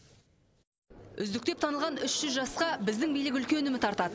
үздік деп танылған үш жүз жасқа біздің билік үлкен үміт артады